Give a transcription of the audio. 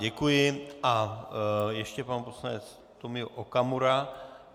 Děkuji a ještě pan poslanec Tomio Okamura.